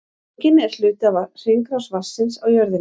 Rigningin er hluti af hringrás vatnsins á jörðinni.